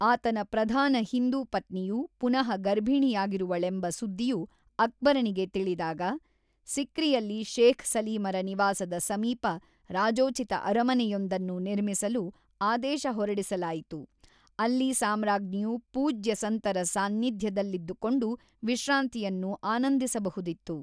ಆತನ ಪ್ರಧಾನ ಹಿಂದೂ ಪತ್ನಿಯು ಪುನಃ ಗರ್ಭಿಣಿಯಾಗಿರುವಳೆಂಬ ಸುದ್ದಿಯು ಅಕ್ಬರನಿಗೆ ತಿಳಿದಾಗ, ಸಿಕ್ರಿಯಲ್ಲಿ ಶೇಖ್ ಸಲೀಮರ ನಿವಾಸದ ಸಮೀಪ ರಾಜೋಚಿತ ಅರಮನೆಯೊಂದನ್ನು ನಿರ್ಮಿಸಲು ಆದೇಶ ಹೊರಡಿಸಲಾಯಿತು, ಅಲ್ಲಿ ಸಾಮ್ರಾಜ್ಞಿಯು ಪೂಜ್ಯ ಸಂತರ ಸಾನ್ನಿಧ್ಯದಲ್ಲಿದ್ದುಕೊಂಡು ವಿಶ್ರಾಂತಿಯನ್ನು ಆನಂದಿಸಬಹುದಿತ್ತು.